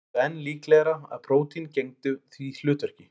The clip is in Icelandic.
Flestir töldu enn líklegra að prótín gegndu því hlutverki.